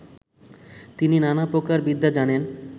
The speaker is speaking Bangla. তিনি নানা প্রকার বিদ্যা জানেন